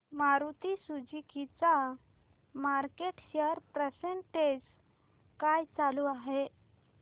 Maruti Suzuki चा market share percentage काय चालू आहे